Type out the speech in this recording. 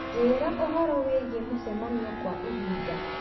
njĩĩra ũhoro wĩgiĩ mĩcemanio kwa ihinda